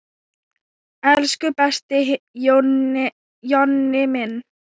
Elsku besti Jonni minn.